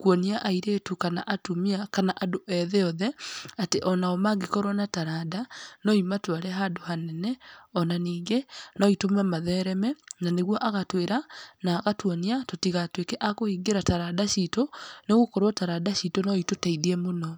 kuonia airĩtu, kana atumia, kana andũ ethĩ othe, atĩ onao mangĩkorwo na taranda no imatware handũ hanene, ona ningĩ no itũme mathereme, na nĩguo agatwĩra na agatuonia tũtigatuĩke a kũhingĩra taranda citũ nĩgũkorwo taranda citũ no itũteithie mũno.